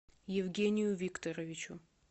евгению викторовичу